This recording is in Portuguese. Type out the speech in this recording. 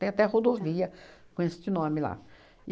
Tem até rodovia com este nome lá.